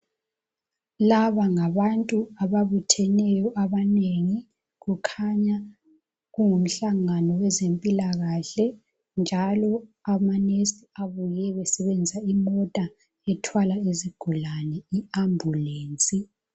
Laba ngabantu ababutheneyo abanengi kukhanya kungumhlangano wezempilakahle njalo ama nurse abuye besebenzisa imota ethwala izigulane i ambulance.